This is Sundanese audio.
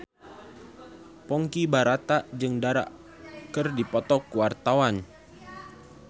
Ponky Brata jeung Dara keur dipoto ku wartawan